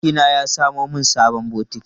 Surukina ya samo min sabon bokiti.